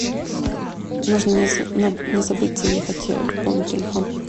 нужно не забыть заехать пополнить телефон